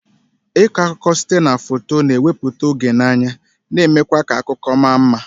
Ịkọ akụkọ site na foto, na-ewepụta oge n'anya, na-eme kwa ka akụkọ ma mma.